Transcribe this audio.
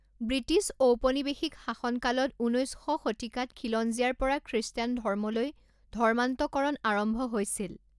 British ঔপনিৱেশিক শাসনকালত ঊনৈছ শ শতিকাত খিলঞ্জীয়াৰ পৰা খ্ৰীষ্টান ধৰ্মলৈ ধৰ্মান্তৰকৰণ আৰম্ভ হৈছিল।